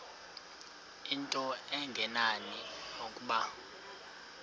into engenani nokuba